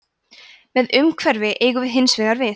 með umhverfi eigum við hins vegar við